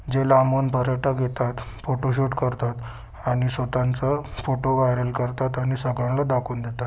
जे लांबून पर्यटक येतात फोटो शूट करतात आणि स्वतःच फोटो वायरल करतात आणि सगळ्यांना दाखवुन देतात.